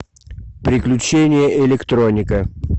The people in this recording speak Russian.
приключения электроника